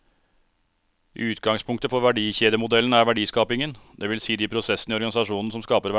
Utgangspunktet for verdikjedemodellen er verdiskapingen, det vil si de prosessene i organisasjonen som skaper verdier.